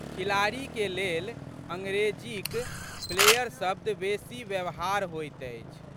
खिलाड़ीके लेल अंग्रेजीक प्लेयर शब्द बेशी व्यवहार होइत अछि।